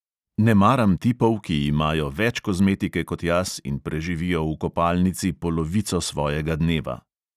Ne maram tipov, ki imajo več kozmetike kot jaz in preživijo v kopalnici polovico svojega dneva.